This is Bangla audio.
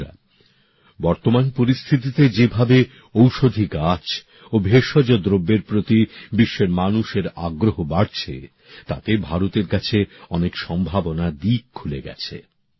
বন্ধুরা বর্তমান পরিস্থিতিতে যেভাবে ঔষধি গাছ ও ভেষজ দ্রব্যের প্রতি বিশ্বের মানুষের আগ্রহ বাড়ছে তাতে ভারতের কাছে অনেক সম্ভাবনার দিক খুলে গেছে